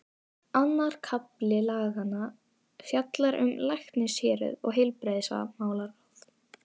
Annar kafli laganna fjallar um læknishéruð og heilbrigðismálaráð.